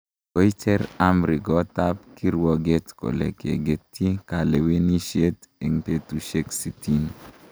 Koicher amri koot ab kirwoget kole kegetyi kalewenisyet eng betusyek sitini